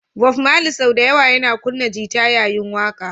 Bob Mali sau da yawa yana kunna gita yayin waƙa